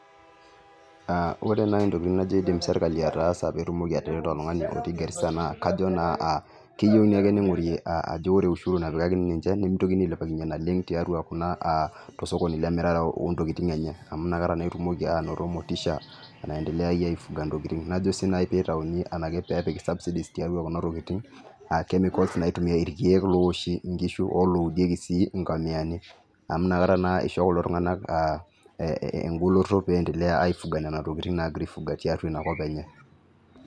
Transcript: Aaa ore nai intokitin najo iidim sirkali ataasa peetumoki atereto oltung'ani otii Garissa naa kajo naa aa keyeu ninye ning'ori ajo ore ushuru napikakini ninche nimitokini ailepakinye naleng' tiatua kuna aa tosokoni loontokitin enye amuu nakata etumoki anoto motisha naendeleaye aifuga intokitin najo sii nai pee itayuni enaki peepik cs[subsidies]cs tiatua kuna tikitin aa cs[chemicals]cs naitumiari irkiek loowoshi inkishu olooudieki inkomiyani amuu nakata naa isho kulo tunga'na engoloto piiyendelea aifuga nena tokiting naagira aifuga tiatua ina kop enye.